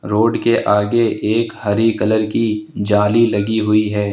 Road के आगे एक हरी कलर की जाली लगी हुई है।